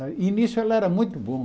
E nisso ele era muito bom.